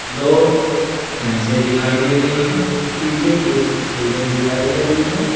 दो भैंसें दिखाई दे रही है पीछे कुछ बिल्डिंग दिखाई दे रही है।